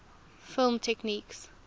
film techniques